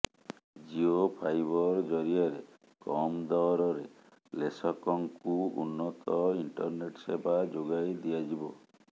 Jio Fiber ଜରିଆରେ କମ୍ ଦରରେ ଲେଶକଙ୍କୁ ଉନ୍ନତ ଇଣ୍ଟରନେଟ୍ ସେବା ଯୋଗାଇଦିଆଯିବ